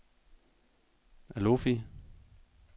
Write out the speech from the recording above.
Alofi